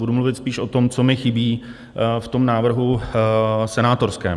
Budu mluvit spíš o tom, co mi chybí v tom návrhu senátorském.